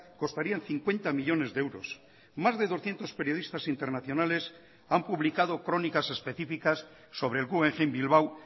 costarían cincuenta millónes de euros más de doscientos periodistas internacionales han publicado crónicas específicas sobre el guggenheim bilbao